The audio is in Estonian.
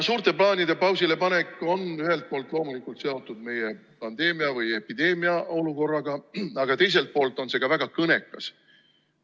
Suurte plaanide pausilepanek on ühelt poolt loomulikult seotud meie pandeemia või epideemia olukorraga, aga teiselt poolt on see ka väga kõnekas.